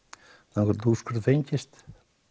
þangað til úrskurður fengist